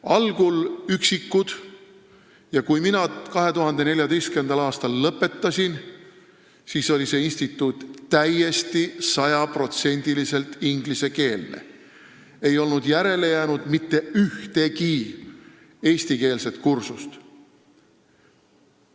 Algul üksikud, aga kui mina 2014. aastal seal töö lõpetasin, siis oli see instituut sada protsenti ingliskeelne, ei olnud järele jäänud mitte ühtegi eestikeelset kursust.